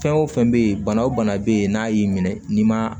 Fɛn o fɛn bɛ yen bana o bana bɛ yen n'a y'i minɛ n'i ma